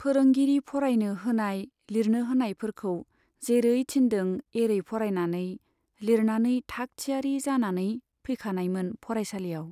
फोरोंगिरि फरायनो होनाय, लिरनो होनायफोरखौ जेरै थिन्दों एरै फरायनानै, लिरनानै थाखथियारी जानानै फैखानायमोन फरायसालियाव।